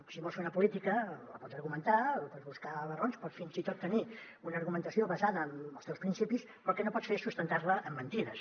si vols fer una política la pots argumentar pots buscar les raons pots fins i tot tenir una argumentació basada en els teus principis però el que no pots fer és sustentar la en mentides